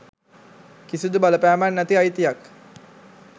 කිසිදු බලපෑමක් නැති අයිතියක්.